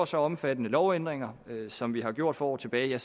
så omfattende lovændringer som vi har gjort for år tilbage